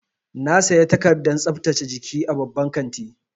Na saya takardar tsaftace jiki a babban kanti.